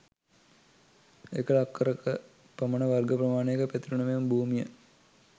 එකල අක්කර ක පමණ වර්ග ප්‍රමාණයක පැතිරුණු මෙම භූමිය